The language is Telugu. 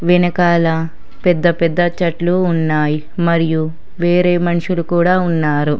వెనకాల పెద్ద పెద్ద చెట్లు ఉన్నాయ్ మరియు వేరే మన్షులు కూడా ఉన్నారు.